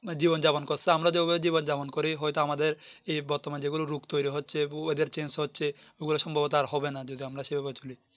জীবন যাপন করছে আমরা যে ভাবে জীবন যাপন করি হয়তো আমাদের এই বর্তমান যেগুলিও রূপ তৌরি হচ্ছে Oyedar Change হচ্ছে ওগুলো ওসম্ভবতো আর হবে যদি আমরা সে ভাবে চলি